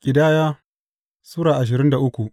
Ƙidaya Sura ashirin da uku